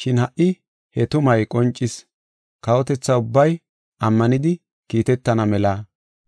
Shin ha77i he tumay qoncis. Kawotetha ubbay ammanidi kiitetana mela